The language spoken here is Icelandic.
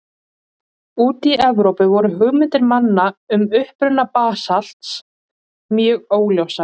Úti í Evrópu voru hugmyndir manna um uppruna basalts mjög óljósar.